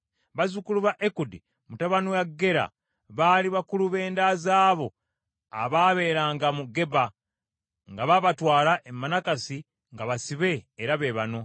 Bazzukulu ba Ekudi mutabani wa Gera baali bakulu b’enda z’abo abaabeeranga mu Geba nga baabatwala e Manakasi nga basibe era be bano: